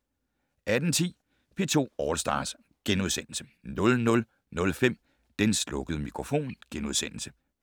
18:10: P2 All Stars * 00:05: Den slukkede mikrofon *